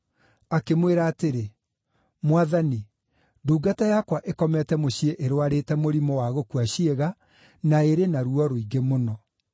Akĩmwĩra atĩrĩ, “Mwathani, ndungata yakwa ĩkomete mũciĩ ĩrũarĩte mũrimũ wa gũkua ciĩga na ĩrĩ na ruo rũingĩ mũno.”